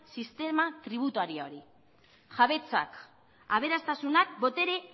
sistema tributarioari jabetzak aberastasunak botere